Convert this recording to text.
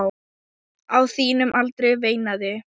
Á þínum aldri, veinaði